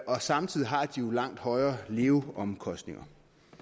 og samtidig har de jo langt højere leveomkostninger